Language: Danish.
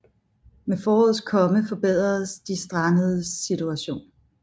Med forårets komme forbedredes de strandedes situation